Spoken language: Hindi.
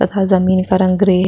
तथा जमीन का रंग ग्रे --